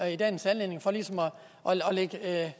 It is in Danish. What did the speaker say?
i dagens anledning for ligesom at